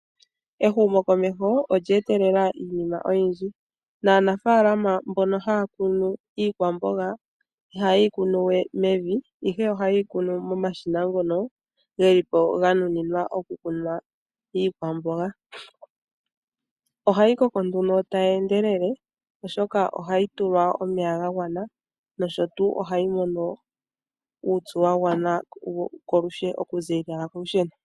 Ehumo komeho olye etelela iinima oyindji. Aanafalama mbono haya kunu iikwamboga ihaye yikunuwe mevi, ihe ohaye yikunu momashina ngono gelipo ganuninwa okukunwa iikwamboga. Ohayi koko tayi endelele oshoka ohayi tulwa omeya gagwana nosho tuu ohayi mono uupyu wagwana oku ziilila kolusheno.